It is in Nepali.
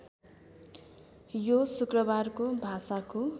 यो शुक्रबारको भाषाको